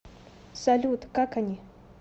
салют как они